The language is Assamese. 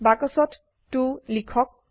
বাক্সত 2 লিখক